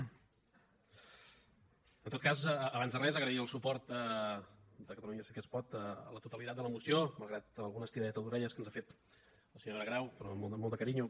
en tot cas abans de res agrair el suport de catalunya sí que es pot a la totalitat de la moció malgrat alguna estiradeta d’orelles que ens ha fet la senyora grau però amb molt de carinyo